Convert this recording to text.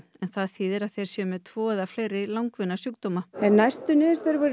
en það þýðir að þeir séu með tvo eða fleiri langvinna sjúkdóma en næstu niðurstöður voru